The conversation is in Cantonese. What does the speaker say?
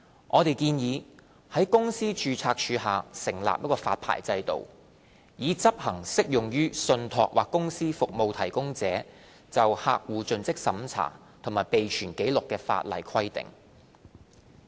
我們建議於公司註冊處下成立發牌制度，以執行適用於信託或公司服務提供者就客戶作盡職審查及備存紀錄的法例規定。